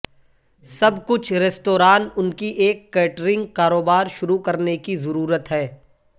سب کچھ ریستوران ان کی ایک کیٹرنگ کاروبار شروع کرنے کی ضرورت ہے